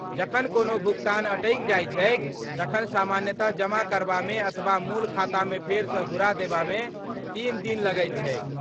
जखन कोनो भुगतान अटकि जाइत छैक तखन सामान्यतः जमा करबामे अथवा मूल खातामे फेरसँ घुरा देबामे तीन दिन लगैत छैक।